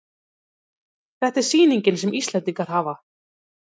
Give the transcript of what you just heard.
Þetta er sýnin sem Íslendingar hafa